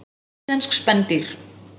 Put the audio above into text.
Íslensk spendýr.